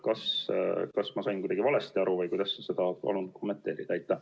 Kas ma sain kuidagi valesti aru või kuidas sa seda kommenteerid?